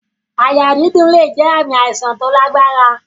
Àyà dídùn lè jẹ ààmì àìsàn tí ó lágbára